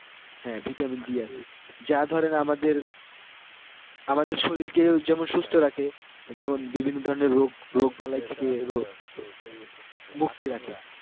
হ্যাঁ vitamin D আছে যা ধরেন আমাদের আমাদের শরীরকেও যেমন সুস্থ রাখে যেমন বিভিন্ন ধরণের রোগ রোগ বালাই থেকে মুক্তি রাখে